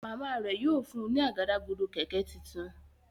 Màmá rẹ yóò fún ní Àgádágodo kẹ̀kẹ́ títún.